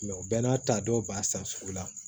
u bɛ n'a ta dɔw b'a san sugu la